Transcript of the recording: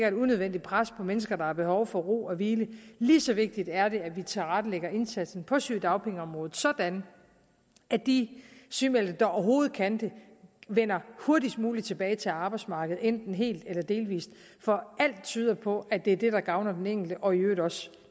et unødvendigt pres på mennesker der har behov for ro og hvile lige så vigtigt er det at vi tilrettelægger indsatsen på sygedagpengeområdet sådan at de sygemeldte der overhovedet kan det vender hurtigst muligt tilbage til arbejdsmarkedet enten helt eller delvist for alt tyder på at det er det der gavner den enkelte og i øvrigt også